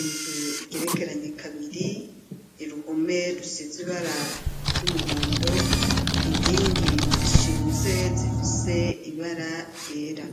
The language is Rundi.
inzu igerekeranye kabiri iruhome rusiziba bara ry'umuhondo inkingi zishinze zifise ibara ryera.